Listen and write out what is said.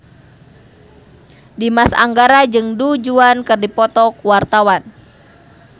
Dimas Anggara jeung Du Juan keur dipoto ku wartawan